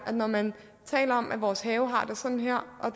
når man taler om at vores have har det sådan her